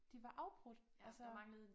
De var afbrudt altså